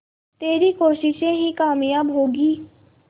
तेरी कोशिशें ही कामयाब होंगी